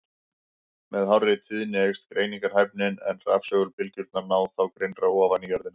Með hárri tíðni eykst greiningarhæfnin, en rafsegulbylgjurnar ná þá grynnra ofan í jörðina.